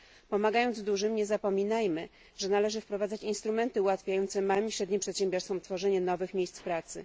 Pomagając dużym, nie zapominajmy, że należy wprowadzać instrumenty ułatwiające małym i średnim przedsiębiorstwom tworzenie nowych miejsc pracy.